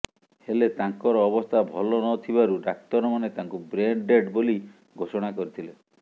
ହେଲେ ତାଙ୍କର ଅବସ୍ଥା ଭଲ ନ ଥିବାରୁ ଡାକ୍ତରମାନେ ତାଙ୍କୁ ବ୍ରେନ ଡେଡ୍ ବୋଲି ଘୋଷଣା କରିଥିଲେ